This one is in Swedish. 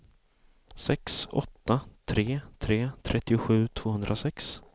sex åtta tre tre trettiosju tvåhundrasex